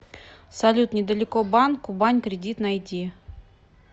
салют недалеко банк кубань кредит найди